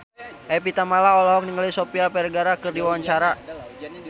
Evie Tamala olohok ningali Sofia Vergara keur diwawancara